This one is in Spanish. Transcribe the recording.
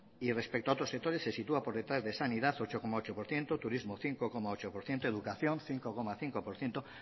y respecto a otros sectores se sitúa por detrás de sanidad ocho coma ocho por ciento turismo cinco coma ocho por ciento educación cinco coma cinco por ciento